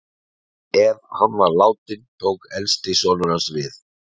Ef hann var látinn tók elsti sonur hans við.